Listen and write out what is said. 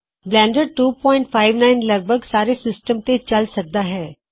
Blender 259 ਲਗ ਭਗ ਸਾਰੇ ਸਿਸਟਅਮ ਤੇ ਚਲ ਸਕਦਾ ਹੈ